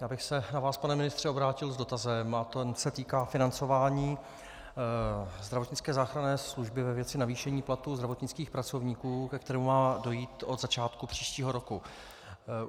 Já bych se na vás, pane ministře, obrátil s dotazem a ten se týká financování zdravotnické záchranné služby ve věci navýšení platu zdravotnických pracovníků, ke kterému má dojít od začátku příštího roku.